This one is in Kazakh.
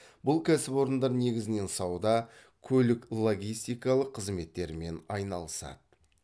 бұл кәсіпорындар негізінен сауда көлік логистикалық қызметтермен айналысады